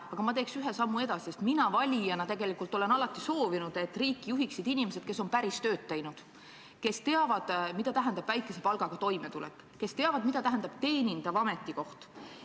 Aga ma teeks ühe sammu edasi, sest mina valijana olen tegelikult alati soovinud, et riiki juhiksid inimesed, kes on teinud päris tööd ja kes teavad, mida tähendab väikese palgaga toime tulla, kes teavad, mida tähendab teenindaja ametikoht.